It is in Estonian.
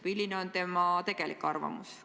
Milline on tema tegelik arvamus?